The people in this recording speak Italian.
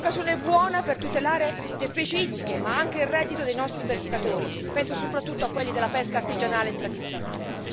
Era l'occasione buona per tutelare le specie ittiche ma anche il reddito dei nostri pescatori, penso soprattutto a quelli della pesca artigianale e tradizionale.